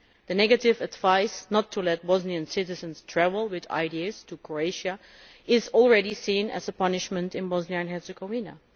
The negative advice not to let Bosnian citizens travel with ID cards to Croatia is already seen as a punishment in Bosnia and Herzegovina.